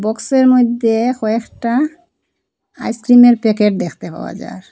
বক্সের মইধ্যে কয়েকটা আইসক্রিমের প্যাকেট দেখতে পাওয়া যার।